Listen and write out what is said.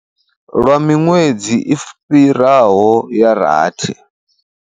Vha sa shumi lwa miṅwedzi i fhiraho ya rathi.